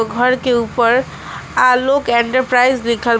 घर के उपर आलोक एंटरप्राइज लिखल--